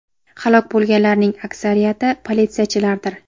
Halok bo‘lganlarning aksariyati politsiyachilardir.